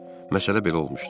Məsələ belə olmuşdu.